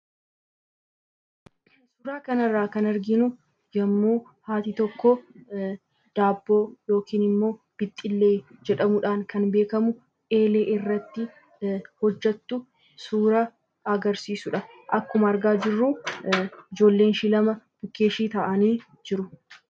Suuraa kanarraa kan arginu yommuu haati tokko daabboo yookiin ammoo bixxillee jedhamuudhaan kan beekkamu eelee irratti hojjattu suura agarsiisudha. Akkuma argaa jirru ijoolleenshi lama bukkee ishii taa'anii jiru.